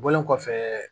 Bɔlen kɔfɛ